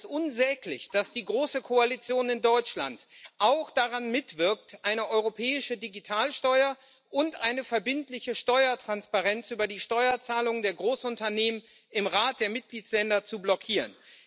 Mich ärgert es unsäglich, dass die große Koalition in Deutschland auch daran mitwirkt, eine europäische Digitalsteuer und eine verbindliche Steuertransparenz über die Steuerzahlungen der Großunternehmen im Rat der Mitgliedstaaten zu blockieren.